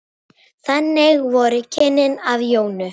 Þannig voru kynnin af Jónu.